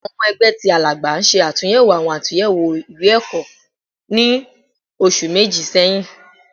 Awọn ọmọ ẹgbẹ ti Alagba ṣe atunyẹwo awọn atunyẹwo iwe-ẹkọ ni oṣu meji sẹhin